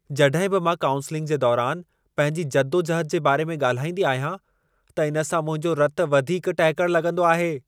जॾहिं बि मां काउंसलिंग जे दौरान पंहिंजी जदोजहद जे बारे में ॻाल्हाईंदी आहियां, त इन सां मुंहिंजो रतु वधीक टहिकण लॻंदो आहे।